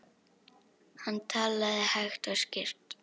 Hann talaði hægt og skýrt.